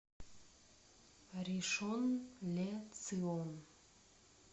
ришон ле цион